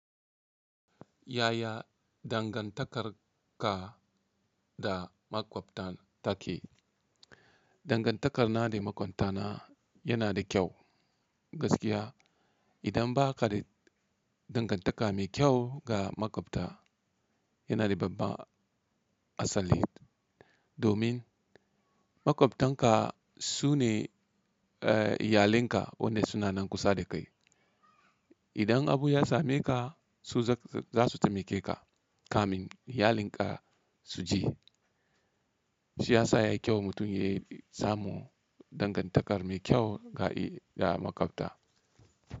Yaya dangantakar ka da makwabtan take? Dangantakar na da makwabtana yana da kyau. Gaskiya idan ba ka da dangantaka mai kyau ga makwabta, yana da babba asali. Domin makwabtanka, su ne iyalinka, wanda suna nan kusa da kai. Idan abu ya same ka, su za su taimake ka, kamin iyalin ka su ji. Shi ya sa ya yi kyau mutum ya samu dangantakar mai kyau ga makwabta.